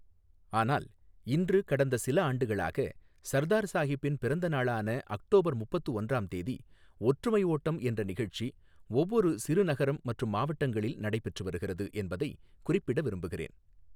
ஆனால் இன்று கடந்த சில ஆண்டுகளாக சர்தார் சாஹிப்பின் பிறந்த நாளான அக்டோபர் முப்பத்து ஒன்றாம் தேதி ஒற்றுமைஓட்டம் என்ற நிகழ்ச்சி ஒவ்வொரு சிறு நகரம் மற்றும் மாவட்டங்களில் நடைபெற்று வருகிறது என்பதை குறிப்பிட விரும்புகிறேன்.